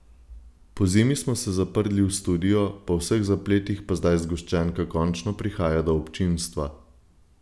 Pozimi smo se zaprli v studio, po vseh zapletih pa zdaj zgoščenka končno prihaja do občinstva.